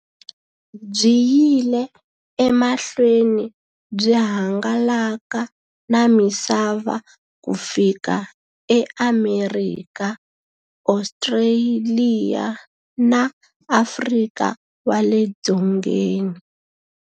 Byi yile emahlweni byi hangalaka na misava ku fika e Amerika, Ostraliya na Afrika wale dzongeni.